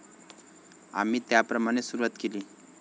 आम्ही त्याप्रमाणे सुरुवात केली.